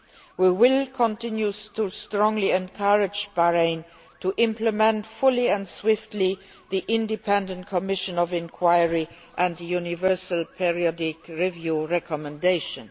We will continue to strongly encourage Bahrain to implement fully and swiftly the independent commission of inquiry and the universal periodic review recommendations.